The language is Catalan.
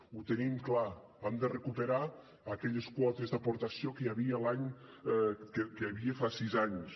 ho tenim clar hem de recuperar aquelles quotes d’aportació que hi havia fa sis anys